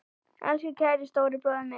Elsku kæri stóri bróðir minn.